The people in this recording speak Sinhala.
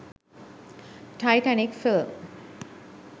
titanic film